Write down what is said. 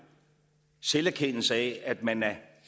selverkendelse af at man